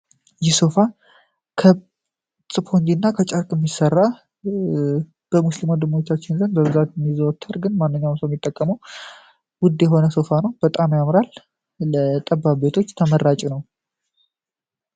ይህ ሶፋ ከጨርቅ እና ከስፖንጅ የሚሠራ በሙስሊም ወንድሞቻችን ዘንድ በብዛት የሚዘወተር ግን ማንኛውም ሚጠቀምው ውድ የሆነ ሶፋ ነው። በጣም ያምራል ለጠባብ ቤቶች ተመራጭ ነው።